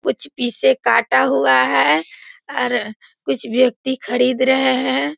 कुछ पीस कटा हुआ है कुछ व्यक्ति खरीद रहे हैं।